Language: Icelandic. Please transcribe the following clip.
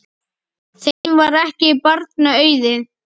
Þeim var ekki barna auðið.